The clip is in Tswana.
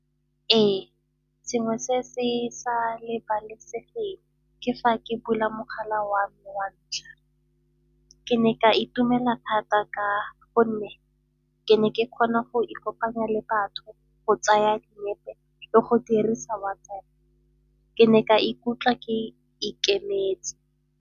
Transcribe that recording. Ee, sengwe se se sa lebalesegeng ke fa ke bula mogala wa me wa ntlha. Ke ne ka itumela thata ka gonne ke ne ke kgona go ikopanya le batho go tsaya dinepe le go dirisa WhatsApp. Ke ne ka ikutlwa ke ikemetse.